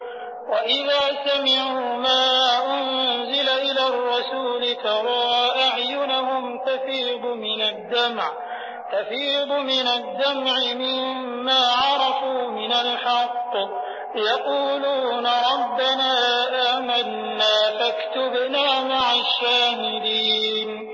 وَإِذَا سَمِعُوا مَا أُنزِلَ إِلَى الرَّسُولِ تَرَىٰ أَعْيُنَهُمْ تَفِيضُ مِنَ الدَّمْعِ مِمَّا عَرَفُوا مِنَ الْحَقِّ ۖ يَقُولُونَ رَبَّنَا آمَنَّا فَاكْتُبْنَا مَعَ الشَّاهِدِينَ